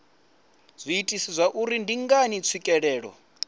zwiitisi zwauri ndi ngani tswikelelo